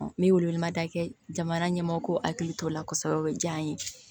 N bɛ wele wele mada kɛ jamana ɲɛmɔgɔw hakili t'o la kosɛbɛ o ye diya n ye